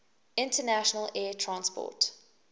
international air transport